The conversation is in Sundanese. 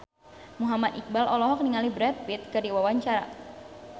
Muhammad Iqbal olohok ningali Brad Pitt keur diwawancara